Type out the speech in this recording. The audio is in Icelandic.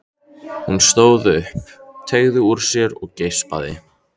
Hún stóð upp, teygði úr sér og geispaði.